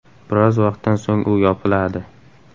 Biroz vaqtdan so‘ng u yopiladi.